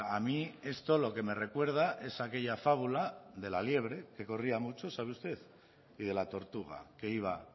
a mí esto lo que me recuerda es aquella fábula de la liebre que corría mucho sabe usted y de la tortuga que iba